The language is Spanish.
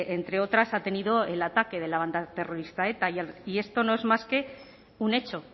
entre otras ha tenido el ataque de la banda terrorista eta y esto no es más que un hecho